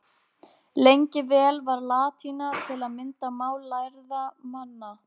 Lengi vel var latína til að mynda mál lærðra manna.